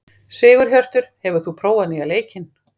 Sigurhjörtur, hefur þú prófað nýja leikinn?